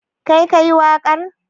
Kai ka yi waƙar?